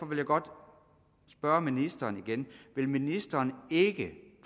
vil jeg godt spørge ministeren igen vil ministeren ikke